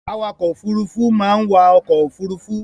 Awakọ̀-òfurufú máa ń wa ọkọ̀ ofurufú.